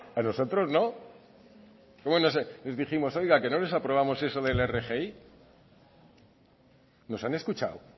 a nosotros no les dijimos oiga que no les aprobamos eso de la rgi nos han escuchado